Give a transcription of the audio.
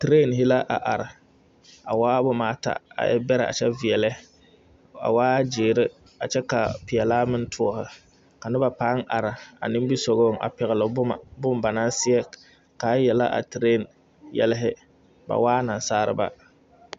Tireehe la are a waa boma ata, a e bɛrɛ kyɛ veɛlɛ, a waa ziiri kyɛ ka peɛle meŋ toɔne ka noba pãã a nimirisɔgɔŋ a pɛle boma, bone ba naa sɛge ka a yele a tireehe yɛlɛ ba waa nansaalba.